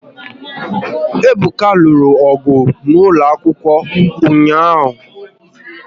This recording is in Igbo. Ebuka lụrụ ọgụ n'ụlọ akwụkwọ ụnyaahụ